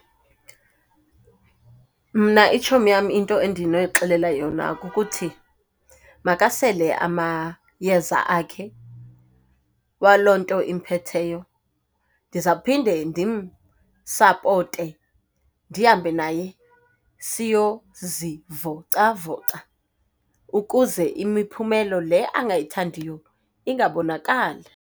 Mna itshomi yam into endinoyixelela yona kukuthi, makasele amayeza akhe waloo nto imphetheyo, ndizawuphinde ndimsapote ndihambe naye siyozivocavoca ukuze imiphumelo le angayithandiyo ingabonakali.